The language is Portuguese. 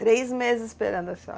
Três meses esperando a senhora?